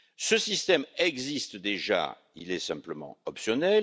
Ce système existe déjà, mais est simplement optionnel.